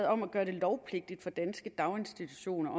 om at gøre det lovpligtigt for danske daginstitutioner